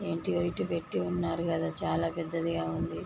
ఏంటియో ఇటు పెట్టి ఉన్నారు గదా చాలా పెద్దదిగా ఉంది.